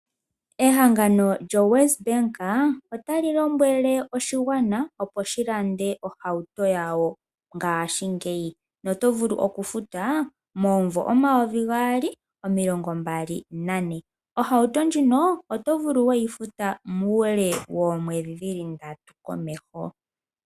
Ehangano lyoWesBank, ota li lombwele oshigwana opo shi lande ohauto yawo ngashingeyi. Na oto vulu okufuta momumvo omayovi gaali omilongo mbali nane. Ohauto ndjino oto vulu oku yi futa muule woomwedhi ndatu komeho.